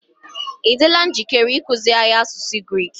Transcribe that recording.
ị dịla njikere ịkụziri anyị asụsụ Grik?